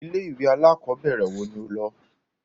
Ilé ìwé alákọ̀berẹ̀ wo ni o lọ?